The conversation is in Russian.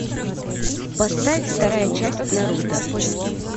поставь вторая часть наруто